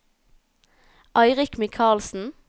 Eirik Michaelsen